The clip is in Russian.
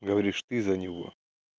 говоришь ты за него